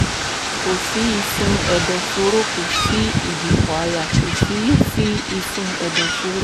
kò sí ìsun ẹ̀dọ̀fóró kò sí ìdìpọ̀ àyà kò sì sí ìsun ẹ̀dọ̀fóró